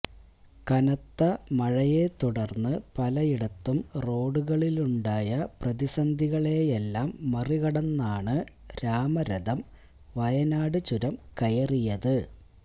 കനത്ത മഴയെ തുടർന്ന് പലയിടത്തും റോഡുകളിലുണ്ടായ പ്രതിസന്ധികളെയെല്ലാം മറികടന്നാണ് രാമരഥം വയനാട് ചുരം കയറിയത്